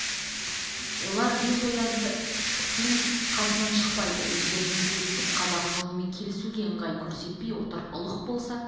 олар бес кісі ояздың қасынан шықпайды өздерімен тілдесіп қазақ жолымен келсуге ыңғай көрсетпей отыр ұлық болса